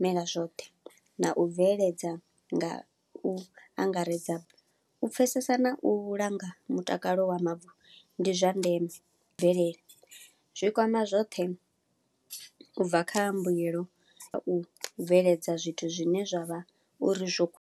mela zwoṱhe, na u bveledza nga u angaredza. U pfesesa na u langa mutakalo wa mavu ndi zwa ndeme bvelele, zwi kwama zwoṱhe ubva kha mbuyelo ya u bveledza zwithu zwine zwavha uri zwo ku.